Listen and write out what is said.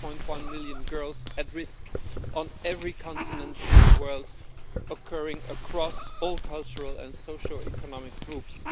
4.1 million girls at risk on every continent in the world, across all cultural and social economic groups.